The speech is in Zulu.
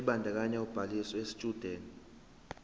ebandakanya ubhaliso yesitshudeni